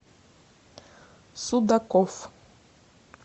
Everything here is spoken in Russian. судаков